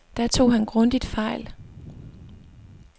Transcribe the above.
Der tog han grundigt fejl.